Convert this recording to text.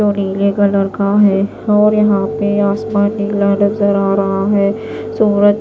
जो नीले कलर का है और यहां पे आसमान नीला नजर आ रहा है सूरज--